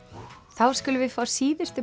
þá skulum við fá síðustu